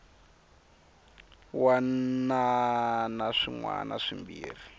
wana na swin wana swimbirhi